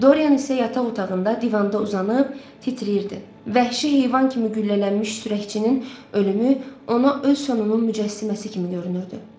Doryan isə yataq otağında divanda uzanıb titrəyirdi vəhşi heyvan kimi güllələnmiş sürəkçinin ölümü ona öz sonunun mücəssiməsi kimi görünürdü.